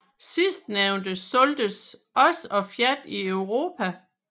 Sidstnævnte solgtes også af Fiat i Europa